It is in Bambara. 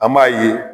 An b'a ye